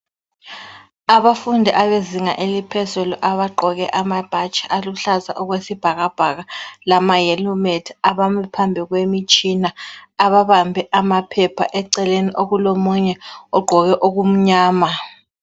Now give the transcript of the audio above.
Abafundi abezinga eliphezulu abagqoke amabhatshi aluhlaza okwesibhakabhaka lama helmet abame phambi kwemitshina ababambe amaphepha eceleni okulomunye ogqoke okumnyama.